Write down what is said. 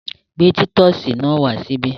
Gbé títọ́sì náà wá síbí!